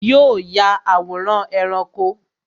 Yo ya àwòrán ẹranko